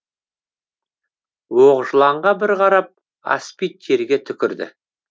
оқжыланға бір қарап аспид жерге түкірді